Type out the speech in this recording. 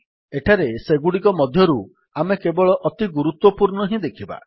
ଏଠାରେ ସେଗୁଡ଼ିକ ମଧ୍ୟରୁ ଆମେ କେବଳ ଅତି ଗୁରୁତ୍ୱପୂର୍ଣ୍ଣ ହିଁ ଦେଖିବା